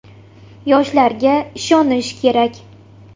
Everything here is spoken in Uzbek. Yoshlarga ishonish kerak.